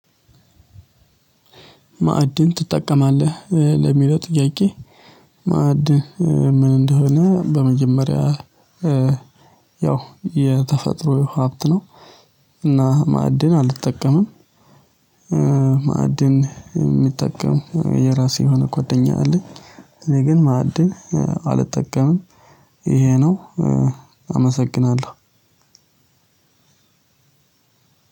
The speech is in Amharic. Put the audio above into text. ማዕድን ትጠቀማለህ ለሚለው ጥያቄ? ማዕድን ምን እንደሆነ በመጀመሪያ ያው የተፈጥሮ ሀብት ነው። እና ማዕድን አልጠቀምም። ማዕድን የሚጠቀም የራሴ የሆነ ጓደኛ አለኝ እኔ ግን ማዕድን አልጠቀምም። ይሄ ነው አመሰግናለሁ።